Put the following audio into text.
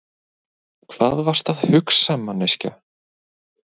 Hvað varstu að hugsa, manneskja?